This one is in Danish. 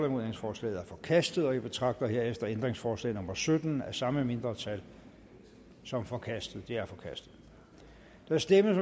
ændringsforslaget er forkastet jeg betragter herefter ændringsforslag nummer sytten af det samme mindretal som forkastet det er forkastet der stemmes